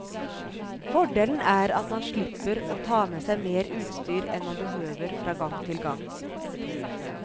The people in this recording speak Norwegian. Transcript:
Fordelen er at man slipper og ta med seg mer utstyr enn man behøver fra gang til gang.